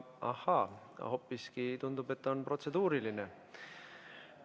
Ahaa, hoopiski tundub, et on protseduuriline küsimus.